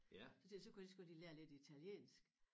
Så tænkte jeg så kunne jeg lige så godt lige lære lidt italiensk